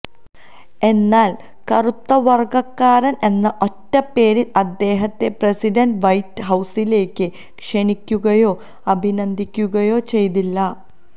എന്നാൽ കറുത്ത വർഗക്കാരൻ എന്ന ഒറ്റപ്പേരിൽ അദ്ദേഹത്തെ പ്രസിഡന്റ് വൈറ്റ് ഹൌസിലേക്ക് ക്ഷണിക്കുകയോ അഭിനന്ദിക്കുകയോ ചെയ്തില്ല